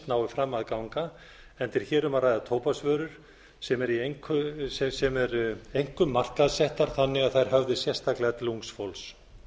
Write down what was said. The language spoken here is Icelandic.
nái fram að ganga enda er hér um að ræða tóbaksvörur sem eru einkum markaðssettar þannig að þær höfði sérstaklega til ungs fólks